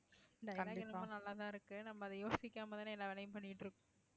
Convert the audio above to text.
இந்த நல்லாதான் இருக்கு நம்ம அதை யோசிக்காமதானே எல்லா வேலையும் பண்ணிட்டு இருக்கோம்